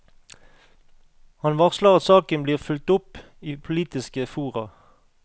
Han varsler at saken blir fulgt opp i politiske fora.